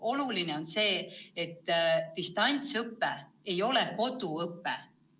Oluline on see, et distantsõpe ei ole koduõpe.